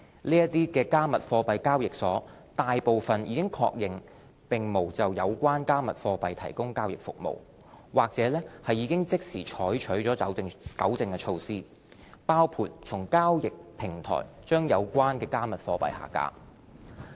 這些"加密貨幣"交易所大部分已確認並無就有關"加密貨幣"提供交易服務，或已即時採取糾正措施，包括從交易平台將有關"加密貨幣"下架。